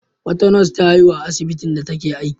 Wata nas ta haihu a asbitin da take aiki.